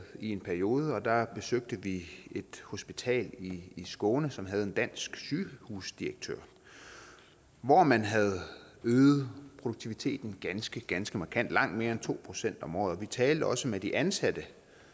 i en periode og der besøgte vi et hospital i skåne som havde en dansk sygehusdirektør hvor man havde øget produktiviteten ganske ganske markant langt mere end to procent om året vi talte også med de ansatte